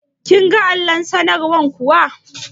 Kin ga allon sanarwar kuwa?